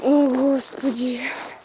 о господи